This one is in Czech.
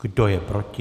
Kdo je proti?